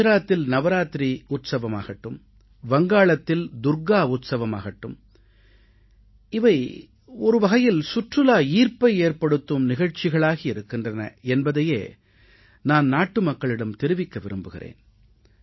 குஜராத்தில் நவராத்திரி உற்சவமாகட்டும் வங்காளத்தில் துர்க்கா உற்சவமாகட்டும் இவை ஒருவகையில் சுற்றுலா ஈர்ப்பை ஏற்படுத்தும் நிகழ்ச்சிகளாகி இருக்கின்றன என்பதையே நான் நாட்டுமக்களிடம் தெரிவிக்க விரும்புகிறேன்